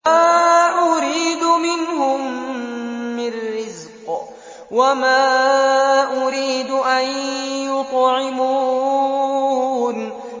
مَا أُرِيدُ مِنْهُم مِّن رِّزْقٍ وَمَا أُرِيدُ أَن يُطْعِمُونِ